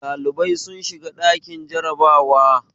Dalibai sun shiga ɗakin jarabawa